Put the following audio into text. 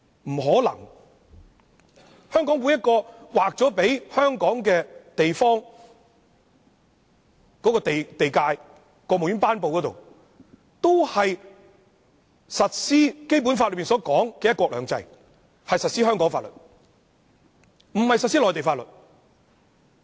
不可能，在香港，在每一個劃給香港的地方，都經過國務院頒布，是要實施《基本法》所說的"一國兩制"，是要實施香港法律，不是實施內地法律的。